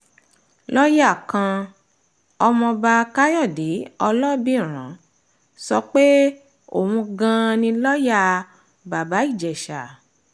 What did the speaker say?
lọ́ọ̀yá kan ọmọba káyọ̀dé ọlọ́bìrán sọ pé òun gan-an ni lọ́ọ̀yà bàbá ìjèṣà